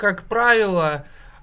как правило